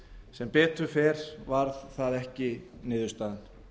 sem betur fer varð það ekki niðurstaðan